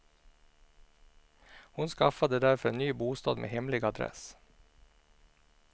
Hon skaffade därför en ny bostad med hemlig adress.